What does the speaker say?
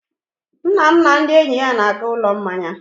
Nna m na ndị enyi ya na-aga ụlọ mmanya.